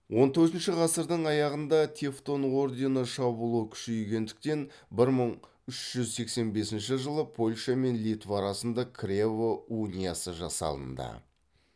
он төртінші ғасырдың аяғында тевтон ордені шабуылы күшейгендіктен бір мың үш жүз сексен бесінші жылы польша мен литва арасында крево униясы жасалынды